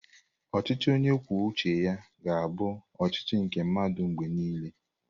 Ọchịchị onye kwuo uche ya ga-abụ ọchịchị nke ndị mmadụ mgbe niile.